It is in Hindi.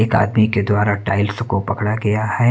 एक आदमी के द्वारा टाइल्स को पकड़ा गया है।